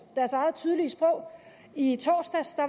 deres eget tydelige sprog i torsdags